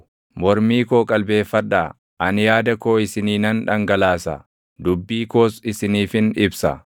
Mormii koo qalbeeffadhaa; ani yaada koo isinii nan dhangalaasa; dubbii koos isiniifin ibsa.